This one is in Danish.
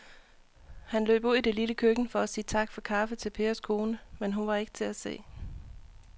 Han løb ud i det lille køkken for at sige tak for kaffe til Pers kone, men hun var ikke til at se.